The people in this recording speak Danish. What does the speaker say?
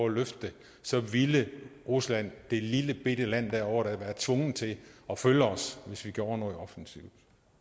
at løfte det så ville rusland det lillebitte land derovre da være tvunget til at følge os altså hvis vi gjorde noget offensivt